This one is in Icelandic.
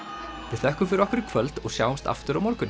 við þökkum fyrir okkur í kvöld og sjáumst aftur á morgun